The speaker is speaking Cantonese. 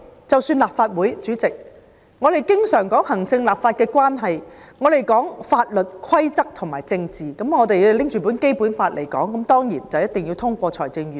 主席，立法會經常說行政與立法關係、法律規則和政治，如果我們根據《基本法》行事，那當然一定要通過預算案。